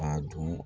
A dun